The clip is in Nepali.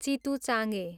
चितुचाङे